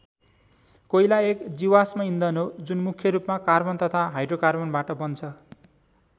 कोइला एक जीवाश्म इन्धन हो जुन मुख्यरूपमा कार्बन तथा हाइड्रोकार्बनबाट बन्छ ।